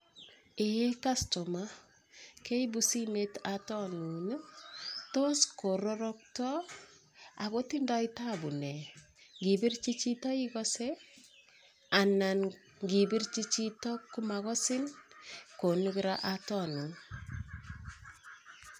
Kastomayat, keibu simet ne nee, tos tindoi tabu nee ak tos ngipirte ikasei anan tos kararokto